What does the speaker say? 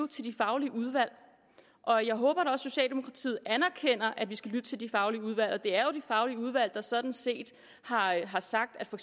til de faglige udvalg og jeg håber at socialdemokratiet anerkender at vi skal lytte til de faglige udvalg det er jo de faglige udvalg der sådan set har har sagt at for